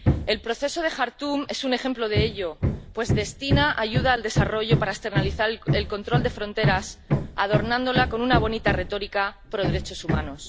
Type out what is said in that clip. El proceso de Jartum es un ejemplo de ello, pues destina ayuda al desarrollo para externalizar el control de fronteras, adornándola con una bonita retórica pro derechos humanos.